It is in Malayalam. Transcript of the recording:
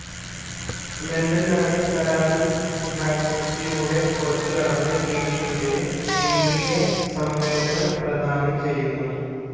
മെന്റൽ നാഡി ഫൊറാമൻ മാഗ്നത്തിലൂടെ പുറത്തുകടന്ന് കീഴ്ച്ചുണ്ടിന് ഇന്ദ്രിയ സംവേദനം പ്രദാനം ചെയ്യുന്നു.